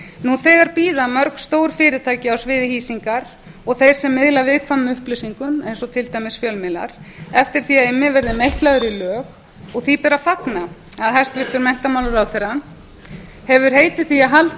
nú þegar bíða mörg stór fyrirtæki á sviði hýsingar og þeir sem miðla viðkvæmum upplýsingum eins og til dæmis fjölmiðlar eftir því að immi verður meitlaður í lög og því ber að fagna að hæstvirtur menntamálaráðherra hefur heitið því að halda